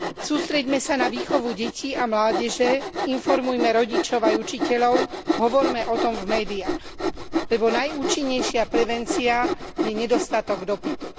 Sústreďme sa na výchovu detí a mládeže, informujme rodičov aj učiteľov, hovorme o tom v médiách, lebo najúčinnejšia prevencia je nedostatok dopytu.